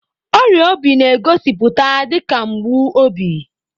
Ọrịa obi na-egosipụta dị ka mgbu obi.